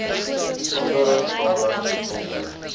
besondere tale besondere